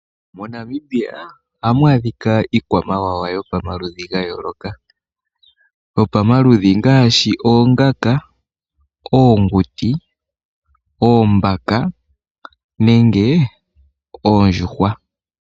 MoNamibia ohamu adhika iikwamawawa yopamaludhi ga yooloka. Yopamaludhi ngaashi oongaka, oonguti, oombaka nenge oondjuhwa.